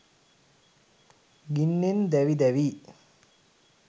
ගින්නෙන් දැවි දැවී